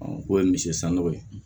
o ye misi sann'o ye